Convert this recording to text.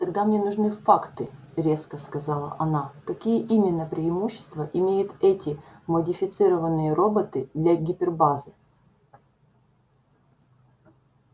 тогда мне нужны факты резко сказала она какие именно преимущества имеют эти модифицированные роботы для гипербазы